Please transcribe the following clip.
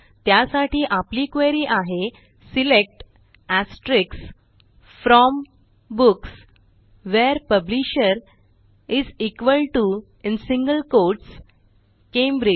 त्यासाठी आपली क्वेरी आहे select from books where publisher Cambridge